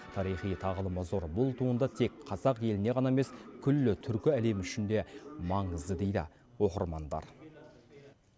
тарихи тағылымы зор бұл туынды тек қазақ еліне ғана емес күллі түркі әлемі үшін де маңызды дейді оқырмандар